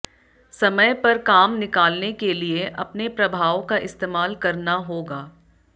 समय पर काम निकालने के लिए अपने प्रभाव का इस्तेमाल करना होगा